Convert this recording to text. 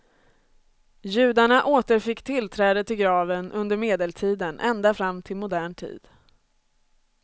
Judarna återfick tillträde till graven under medeltiden ända fram till modern tid.